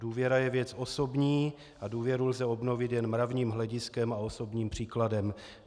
Důvěra je věc osobní a důvěru lze obnovit jen mravním hlediskem a osobním příkladem.